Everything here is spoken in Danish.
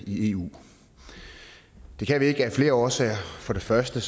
i eu det kan vi ikke af flere årsager for det første